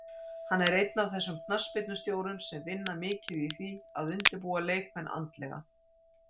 Hann er einn af þessum knattspyrnustjórum sem vinna mikið í því að undirbúa leikmenn andlega